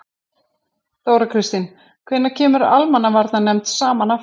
Þóra Kristín: Hvenær kemur almannavarnanefnd saman aftur?